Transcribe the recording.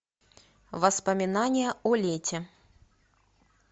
воспоминание о лете